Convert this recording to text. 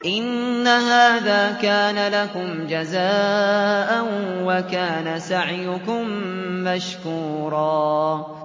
إِنَّ هَٰذَا كَانَ لَكُمْ جَزَاءً وَكَانَ سَعْيُكُم مَّشْكُورًا